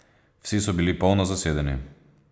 Vsi so bili polno zasedeni.